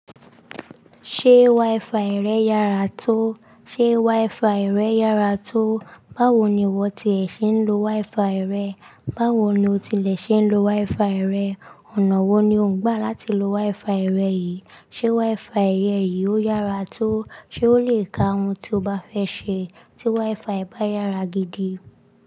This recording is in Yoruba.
Ṣé wifi rẹ yára tó? Ṣé wifi rẹ yára tó? Báwo ni ìwọ ti è ṣe ń lo wifi rẹ? Báwo ni o ti lè ṣe ń lo wifi rẹ? Ọ̀nà wo ni o ń gbà láti lo wifi rẹ yìí? Ṣé wifi rẹ yìí ó yára tó? Ṣé ó lè ka ohun tó bá fẹ́ ṣe tí wifi bá yára gidi.